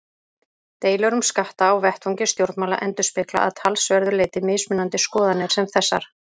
Deilur um skatta á vettvangi stjórnmála endurspegla að talsverðu leyti mismunandi skoðanir sem þessar.